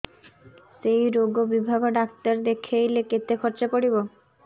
ସେଇ ରୋଗ ବିଭାଗ ଡ଼ାକ୍ତର ଦେଖେଇଲେ କେତେ ଖର୍ଚ୍ଚ ପଡିବ